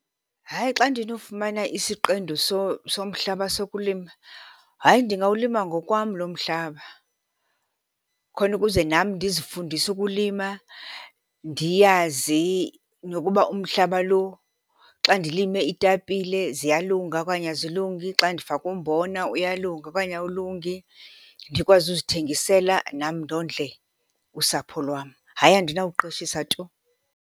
Hayi, xa ndinofumana isiqendu somhlaba sokulima, hayi ndingawulima ngokwam loo mhlaba. Khona ukuze nam ndizifundise ukulima, ndiyazi nokuba umhlaba lo xa ndilime iitapile ziyalunga okanye azilungi, xa ndifake umbona uyalunga okanye awulungi. Ndikwazi ukuzithengisela nam ndondle usapho lwam. Hayi, andinawuqeshisa tu.